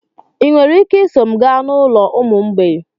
Ị nwere ike iso m gaa n'ụlọ ụmụ mgbei?